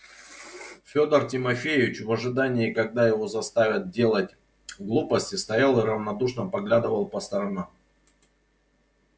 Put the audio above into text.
фёдор тимофеевич в ожидании когда его заставят делать глупости стоял и равнодушно поглядывал по сторонам